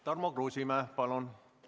Tarmo Kruusimäe, palun!